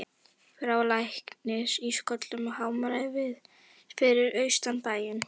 Frá læknum sást í kollinn á hamrinum fyrir austan bæinn.